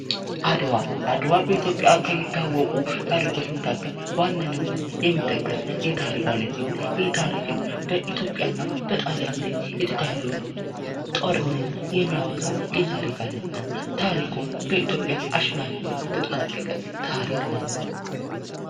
አድዋ አድዋ በኢትዮጵያ ከሚታወቁ ታሪኮች መካከል በዋነኝነት የሚጠቀስ የታሪክ አይነት ሲሆን ይኸ ታሪክም በኢትዮጵያ እና በኢጣሊያ የተካሔደውን ጦርነት የሚያወሳ የታሪክ አይነት ነው ታሪኩም በኢትዮጵያ አሸናፊነት የተጠናቀቀ ታሪክ ነው።